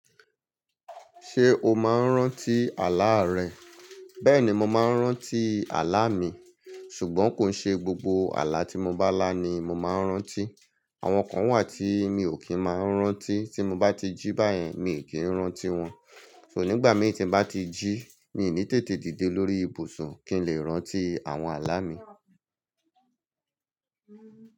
Ṣé o máa ń rántí àlá rẹ? Bẹ́ẹ̀ni mọ máa ń rántí àlá mi, ṣùgbọ́n kòi ṣe gbogbo àlá tí mo bá lá ni mo máa ń rántí. Àwọn kan wà tí mi ò kí ń máa ń rántí. Tí mo bá ti jí báyẹn mii n kí ń rántí wọn. So nígbà mìí tí n bá ti jí, mi n ní tètè dìde lórí ibùsùn kí n lè rántí àwọn àlá mi.